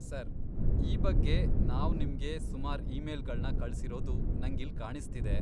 Sir, ಈ ಬಗ್ಗೆ ನಾವ್ ನಿಮ್ಗೆ ಸುಮಾರ್ ಇಮೇಲ್ಗಳ್ನ ಕಳ್ಸಿರೋದು ನಂಗಿಲ್ಲ್ ಕಾಣಿಸ್ತಿದೆ.